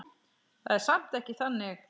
Það er samt ekki þannig.